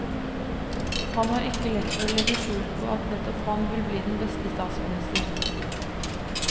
Han har ikke lett for å legge skjul på at nettopp han vil bli den beste statsminister.